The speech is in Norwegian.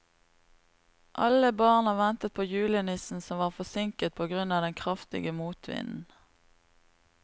Alle barna ventet på julenissen, som var forsinket på grunn av den kraftige motvinden.